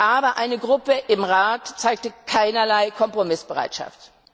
Aber eine Gruppe im Rat zeigte keinerlei Kompromissbereitschaft.